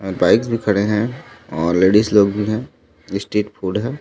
और बाइक्स भी खड़े है और लेडीज लोग भी है स्ट्रीट फ़ूड भी है।